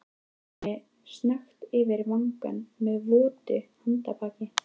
Strauk henni snöggt yfir vanga með votu handarbaki.